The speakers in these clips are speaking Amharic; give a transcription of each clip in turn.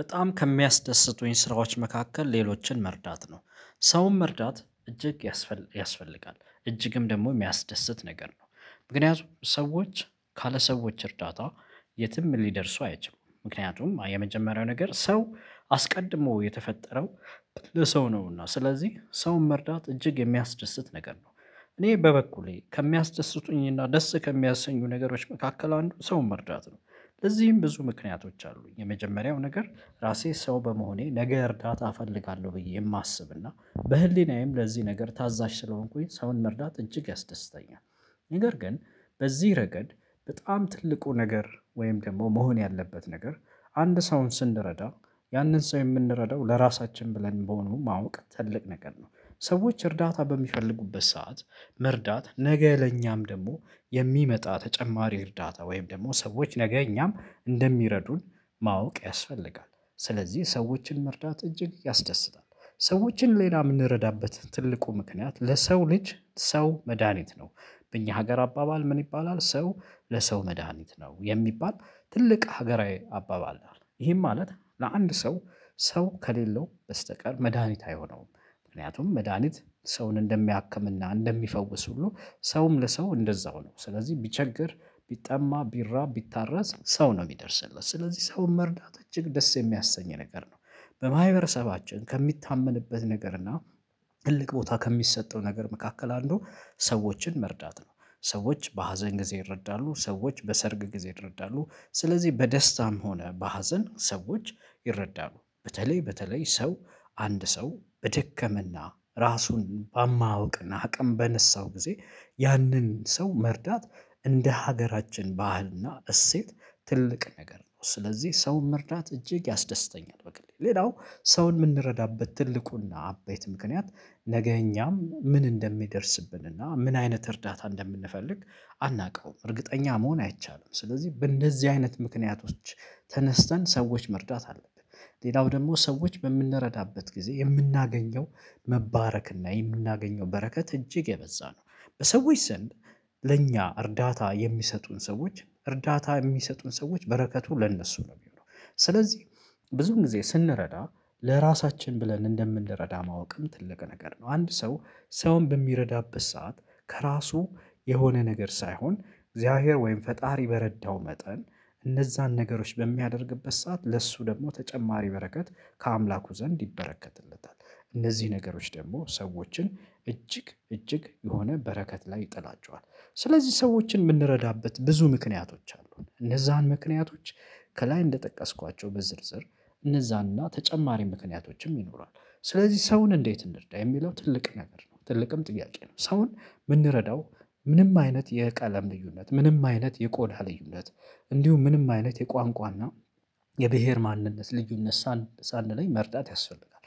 በጣም ከሚያስደስቱኝ ስራዎች መካከል ሌሎችን መርዳት ነው ሰውም መርዳት እጅግ ያስፈልገ ያስፈልጋል እጅግም ደግሞ የሚያስደስት ነገር ነው። ምክንያቱም ሰዎች ካለ ሰዎች እርዳታ። የትም ሊደርሱ አይችሉም ምክንያቱም የመጀመሪያው ነገር ሰው አስቀድሞ የተፈጠረው ቅልህ ሰው ነውና ስለዚህ ሰውን መርዳት እጅግ የሚያስደስት ነገር ነው። እኔ በበኩሌ ከሚያስደስቱኝና ደስ ከሚያሰኙ ነገሮች መካከል አንዱን ሰውን መርዳት ነው። ለዚህም ብዙ ምክንያቶች አሉኝ የመጀመሪያው ነገር ራሴ ሰው በመሆኔ ነገ እርዳታ እፈልጋለሁ ብዬ የማስብ እና በህሊናዬም ለዚህ ነገር ታዛዥ ስለሆንኩኝ ሰውን መርዳት እጅግ ያስደስተኛል። ነገር ግን በዚህ ረገድ በጣም ትልቁ ነገር ወይም ደግሞ መሆን ያለበት ነገር አንድ ሰውን ስንረዳ ያንን ሰው የምንረዳው ለራሳችን ብለን በሆነው ማወቅ ትልቅ ነገር ነው። ሰዎች እርዳታ በሚፈልጉበት ሰዓት መርዳት ነገ ለኛም ደግሞ የሚመጣ ተጨማሪ እርዳታ ወይም ደግሞ ሰዎች ነገ እኛም እንደሚረዱን ማወቅ ያስፈልጋል ስለዚህ ሰዎችን መርዳት እጅግ ያስደስታል። ሰዎችን ሌላ የምንረዳበት ትልቁ ምክንያት ለሰው ልጅ ሰው መድሃኒት ነው። በእኛ ሀገር አባባል ምን ይባላል ሰው? ለሰው መድሃኒት ነው የሚባል ትልቅ ሀገራዊ አባባል አለ ይሄን ማለት ለአንድ ሰው ሰው ከሌለው በስተቀር መድሃኒት አይሆነውም። ምክንያቱም መድሃኒት ሰውን እንደሚያክም እና እንደሚፈውስ ሁሉ ሰውም ለሰው እንደዛው ነው። ስለዚህ ቢቸገር ቢጠማ ቢራብ ቢታረስ ሰው ነው የሚደርስለት ስለዚህ ሰውን መርዳት እጅግ ደስ የሚያሰኝ ነገር ነው። በማህበረሰባችን ከሚታመንበት ነገር እና ትልቅ ቦታ ከሚሰጠው ነገር መካከል አንዱ ሰዎችን መርዳት ነው። ሰዎች በሀዘን ጊዜ ይረዳሉ ሰዎች በሰርግ ጊዜ ይረዳሉ ስለዚህ በደስታም ሆነ በሀዘን ሰዎች ይረዳሉ በተለይ በተለይ ሰው አንድ ሰው በደከመና ራሱን በማውቅና አቅም በነሳው ጊዜ ያንን ሰው መርዳት። እንደ ሀገራችን ባህልና እሴት ትልቅ ነገር ነው ስለዚህ ሰውን መርዳት እጅግ ያስደስተኛል። በቃ ሌላው ሰውን የምንረዳበት ትልቁና አበይት ምክንያት ነገ እኛም ምን እንደሚደርስብንና እና ምን አይነት እርዳታ እንደምንፈልግ አናውቅም እርግጠኛ መሆን አይቻልም። ስለዚህ በእንደዚህ አይነት ምክንያቶች ተነስተን ሰዎች መርዳት አለብን። ሌላው ደግሞ ሰዎች በምንረዳበት ጊዜ የምናገኘው መባረክ እና የምናገኘው በረከት እጅግ የበዛ ነው። በሰዎች ዘንድ ለእኛ እርዳታ የሚሰጡን ሰዎች እርዳታ የሚሰጡን ሰዎች በረከቱ ለእነሱ ነው የሚሆነው። ስለዚህ ብዙን ጊዜ ስንረዳ ለራሳችን ብለን እንደምንረዳ ማወቅም ትልቅ ነገር ነው። አንድ ሰው ሰውን በሚረዳበት ሰዓት ከራሱ የሆነ ነገር ሳይሆን እግዚአብሔር ወይም ፈጣሪ በረዳው መጠን እነዛን ነገሮች በሚያደርግበት ሰዓት ለእሱ ደግሞ ተጨማሪ በረከት ከአምላኩ ዘንድ ይበረከትለታል። እነዚህ ነገሮች ደግሞ ሰዎችን እጅግ እጅግ የሆነ በረከት ላይ ይጥላቸዋል። ስለዚህ ሰዎችን የምንረዳበት ብዙ ምክንያቶች አሉን እነዛን ምክንያቶች ከላይ እንደጠቀስኳቸው በዝርዝር እነዛን እና ተጨማሪ ምክንያቶችም ይኖራል። ስለዚህ ሰውን እንዴት እንርዳ የሚለው ትልቅ ነገር ነው። ትልቅም ጥያቄ ነው። ሰውን የምንረዳው ምንም አይነት የቀለም ልዩነት ምንም አይነት የቆዳ ልዩነት እንዲሁም ምንም አይነት የቋንቋና የብሄር ማንነት ልዩነት ሳንለይ መርዳት ያስፈልጋል።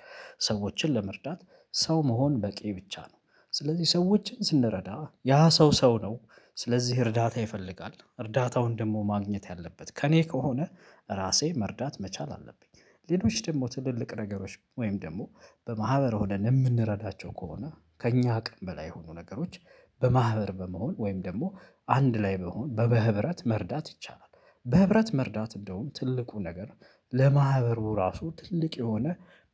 ሰዎችን ለመርዳት ሰው መሆን በቂ ብቻ ነው። ስለዚህ ሰዎችን ስንረዳ ያ ሰው ሰው ነው። ስለዚህ እርዳታ ይፈልጋል እርዳታውን ደግሞ ማግኘት ያለበት ከእኔ ከሆነ ራሴ መርዳት መቻል አለብኝ። ሌሎች ደግሞ ትልልቅ ነገሮች ወይም ደግሞ በማህበር ሆነን የምንረዳቸው ከሆነ ከእኛ አቅም በላይ የሆኑ ነገሮች በማህበር በመሆን ወይም ደግሞ አንድ ላይ በመሆን በበህብረት መርዳት ይቻላል። በህብረት መርዳት እንደውም ትልቁ ነገር ለማህበሩ ራሱ ትልቅ የሆነ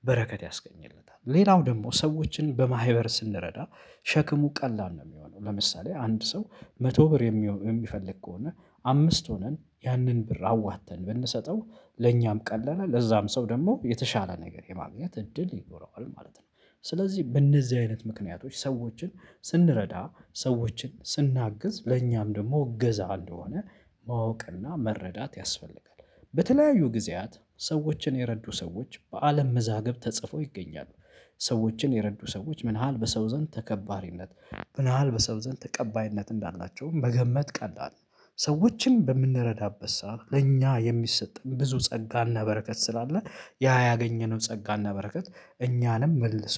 በረከት ያስገኝለታል። ሌላው ደግሞ ሰዎችን በማህበር ስንረዳ ሸክሙ ቀላል ነው የሚሆነው። ለምሳሌ አንድ ሰው መቶ ብር የሚሆን የሚፈልግ ከሆነ አምስት ሆነን ያንን ብር አዋጥተን ብንሰጠው ለኛም ቀለለ ለዛም ሰው ደግሞ የተሻለ ነገር የማግኘት እድል ይኖረዋል ማለት ነው። ስለዚህ በእነዚህ አይነት ምክንያቶች ሰዎችን ስንረዳ ሰዎችን ስናግዝ ለእኛም ደግሞ እገዛ እንደሆነ ማወቅና መረዳት ያስፈልጋል። በተለያዩ ጊዜያት ሰዎችን የረዱ ሰዎች በአለም መዛግብት ተጽፎ ይገኛሉ። ሰዎችን የረዱ ሰዎች ምን ያህል በሰው ዘንድ ተከባሪነት ምን ያህል በሰው ዘንድ ተቀባይነት እንዳላቸውም መገመት ቀላል ነው። ሰዎችን በምንረዳበት ሰዓት ለኛ የሚሰጠን ብዙ ጸጋና በረከት ስላለ ያ ያገኘነው ጸጋና በረከት እኛንም መልሶ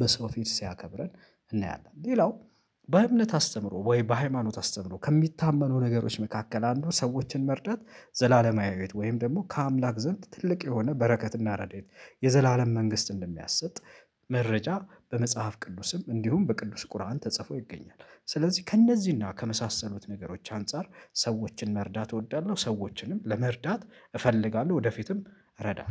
በሰው ፊት ሲያከብረን እናያለን። ሌላው በእምነት አስተምሮ ወይ በሃይማኖት አስተምሮ ከሚታመነው ነገሮች መካከል አንዱን ሰዎችን መርዳት ዘላለማዊ ሂወት ወይም ደግሞ ከአምላክ ዘንድ ትልቅ የሆነ በረከትና ረድኤት የዘላለም መንግስት እንደሚያሰጥ። መረጃ በመጽሐፍ ቅዱስም እንዲሁም በቅዱስ ቁርአን ተጽፎ ይገኛል። ስለዚህ ከእነዚህና ከመሳሰሉት ነገሮች አንፃር ሰዎችን መርዳት እወዳለሁ። ሰዎችንም ለመርዳት እፈልጋለሁ ወደፊትም እረዳለሁ